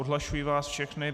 Odhlašuji vás všechny.